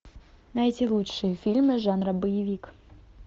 найти лучшие фильмы жанра боевик